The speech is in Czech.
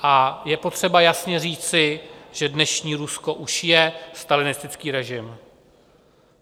A je potřeba jasně říci, že dnešní Rusko už je stalinistický režim.